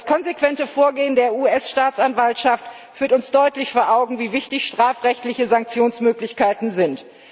Das konsequente Vorgehen der US Staatsanwaltschaft führt uns deutlich vor Augen, wie wichtig strafrechtliche Sanktionsmöglichkeiten sind.